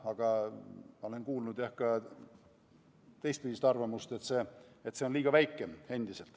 Ma olen kuulnud, jah, ka teistpidist arvamust, et see summa on endiselt liiga väike.